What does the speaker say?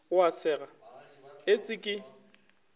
o a sega etse ke